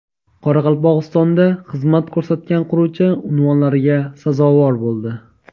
Qoraqalpog‘istonda xizmat ko‘rsatgan quruvchi unvonlariga sazovor bo‘ldi.